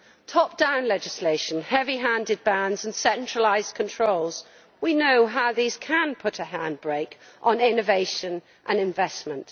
Top down legislation, heavy handed bans and centralised controls we know how these can put a handbrake on innovation and investment.